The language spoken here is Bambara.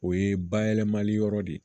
O ye bayɛlɛmali yɔrɔ de ye